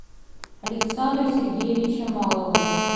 александра сергеевича малова